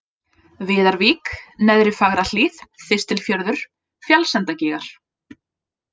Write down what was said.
Viðarvík, Neðri-Fagrahlíð, Þistilfjörður, Fjallsendagígar